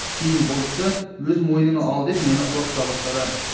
кейін бұл істі өз мойныңа ал деп мені қорқыта бастады